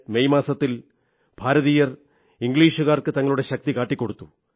1957 May മാസത്തിൽ ഭാരതീയർ ഇംഗ്ലീഷുകാർക്ക് തങ്ങളുടെ ശക്തി കാട്ടിക്കൊടുത്തു